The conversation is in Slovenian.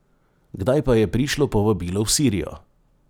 Kdaj pa je prišlo povabilo v Sirijo?